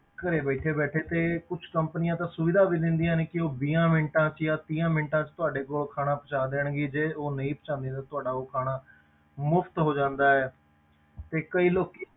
ਘਰੇ ਬੈਠੇ ਬੈਠੇ ਤੇ ਕੁਛ companies ਤਾਂ ਸੁਵਿਧਾ ਵੀ ਦਿੰਦੀਆਂ ਨੇ ਕਿ ਉਹ ਵੀਹਾਂ ਮਿੰਟਾਂ ਵਿੱਚ ਜਾਂ ਤੀਹਾਂ ਮਿੰਟਾਂ ਵਿੱਚ ਤੁਹਾਡੇ ਕੋਲ ਖਾਣਾ ਪਹੁੰਚਾ ਦੇਣਗੇ, ਜੇ ਉਹ ਨਹੀਂ ਪਹੁੰਚਾਉਂਦੇ ਤੁਹਾਡਾ ਉਹ ਖਾਣਾ ਮੁਫ਼ਤ ਹੋ ਜਾਂਦਾ ਹੈ ਤੇ ਕਈ ਲੋਕੀ